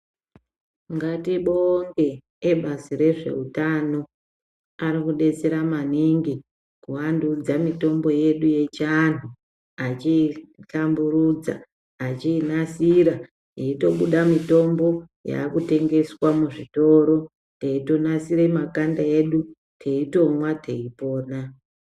Ngatimbonge ebazi rezveutano ari kubetsera maningi kuandudza mitombo yedu yechiantu. Achitamburudza echiinasira peitobuda mutombo yakutengeswa muzvitoro teitonasira makanda edu teitomwa teipona.